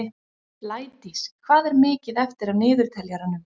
Blædís, hvað er mikið eftir af niðurteljaranum?